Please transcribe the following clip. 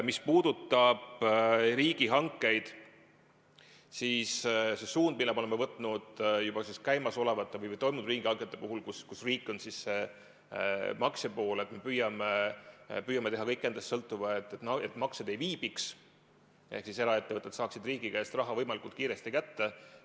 Mis puudutab riigihankeid, siis see suund, mille me oleme võtnud juba käimasolevate või toimunud riigihangete puhul, kus riik on maksja pool, on see, et me püüame teha kõik endast sõltuva, et maksed ei viibiks ehk eraettevõtjad saaksid riigi käest raha võimalikult kiiresti kätte.